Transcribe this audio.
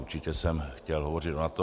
Určitě jsem chtěl hovořit o NATO.